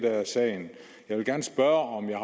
er sagen jeg vil gerne spørge om jeg